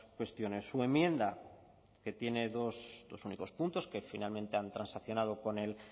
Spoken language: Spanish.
cuestiones su enmienda que tiene dos únicos puntos que finalmente han transaccionado con el